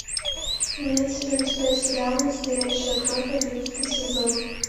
имеется ли у тебя сериал настоящая кровь одиннадцатый сезон